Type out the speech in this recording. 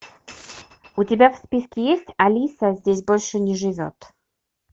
у тебя в списке есть алиса здесь больше не живет